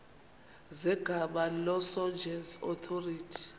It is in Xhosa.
zegama lesngesn authorit